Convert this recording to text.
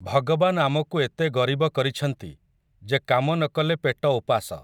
ଭଗବାନ୍ ଆମକୁ ଏତେ ଗରିବ କରିଛନ୍ତି, ଯେ କାମ ନ କଲେ ପେଟ ଓପାସ ।